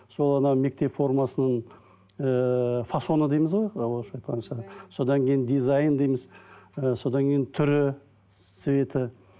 сол анау мектеп формасының ііі фасоны дейміз ғой орысша айтқанда жаңа содан кейін дизайн дейміз і содан кейін түрі цветі